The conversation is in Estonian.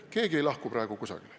Keegi ei lahku praegu kusagile.